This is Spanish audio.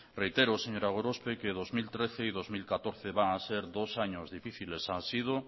reitero señora gorospe que dos mil trece y dos mil catorce van a ser dos años difíciles ha sido